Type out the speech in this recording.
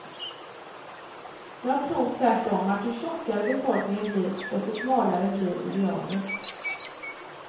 Jag tror tvärtom att ju tjockare befolkningen blir, desto smalare blir idealet.